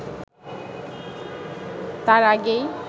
তার আগেই